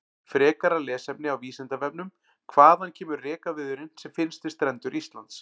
Frekara lesefni á Vísindavefnum: Hvaðan kemur rekaviðurinn sem finnst við strendur Íslands?